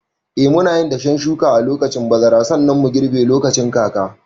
Eh, munayin dashen shuka a lokacin bazara, sannan mu girbe lokacin kaka.